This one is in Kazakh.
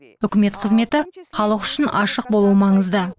үкімет қызметі халық үшін ашық болуы маңызды